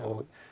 og